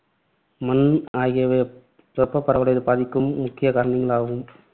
மண் ஆகியவை வெப்பப்பரவலை பாதிக்கும் முக்கியகாரணிகளாகும்.